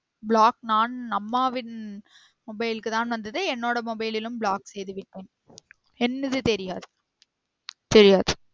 Block நான் அம்மாவின் mobile க்கு தான் வந்தது என்னோட mobile லிலும் block செய்து விட்டேன் என்னது தெரியாது தெரியாது